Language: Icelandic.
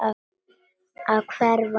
Að hverfa.